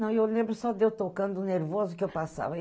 Não, eu lembro só de eu tocando o nervoso que eu passava.